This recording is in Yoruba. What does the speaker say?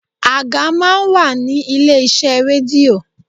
Àga máa ń wà ní ilé iṣẹ́ rédíò.